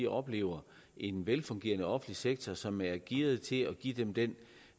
oplever en velfungerende offentlig sektor som er gearet til at give dem den